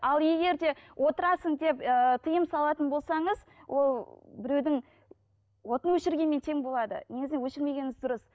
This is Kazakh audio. ал егер де отырасың деп ііі тиым салатын болсаңыз ол біреудің отын өшіргенмен тең болады негізінен өшірмегеніңіз дұрыс